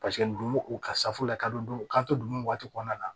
Paseke dugumisafu la ka don u ka to dunw waati kɔnɔna na